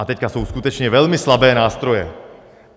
A teď jsou skutečně velmi slabé nástroje.